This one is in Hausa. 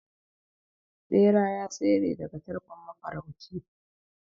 bera ya tsere daga tarkon mafarauci